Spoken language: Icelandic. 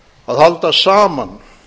að halda saman